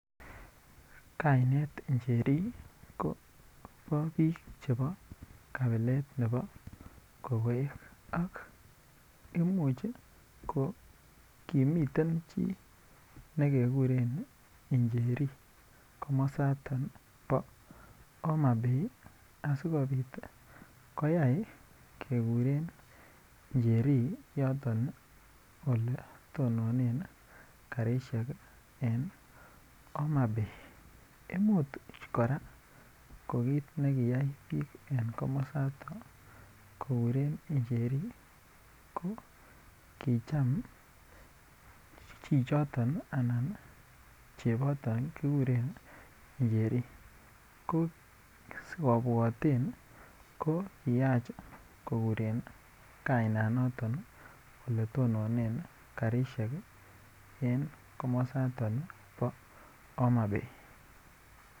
Kainet Njeri kobo biik chepo kabilet ne bo kokoek ak imuch kokimii chii nekekuren Njreri komosato bo homabay asikopit koya kekuren Njeri yoton ii oletonone karisiek en Homabay, imuch kora ko kit nekiyai biik en komosaton kokuren Njeri ko kicham chichoto anan chepoto kikuren Njeri ko sikobwotwn ko kiyach kokuren kainanoto oletonone karisiek en komosaton bo Homabay.